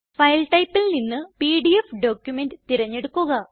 file Typeൽ നിന്ന് PDF document തിരഞ്ഞെടുക്കുക